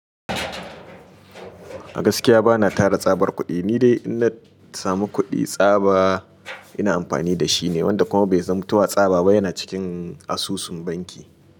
A gaskiya bana tara tsabar kuɗi, ni dai in na samu kuɗi tsaba ina amfani da shi ne wanda kuma bai zamu tuwa tsaba ba yana cikin asusun banki.